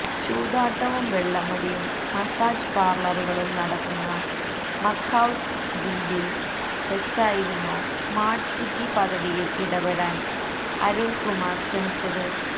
ചൂതാട്ടവും വെള്ളമടിയും മസാജ് പാര്ലറുകളും നടക്കുന്ന മക്കാവ് ദ്വീപില് വെച്ചായിരുന്നോ സ്മാര്ട് സിറ്റി പദ്ധതിയില് ഇടപെടാന് അരുണ്കുമാര് ശ്രമിച്ചത്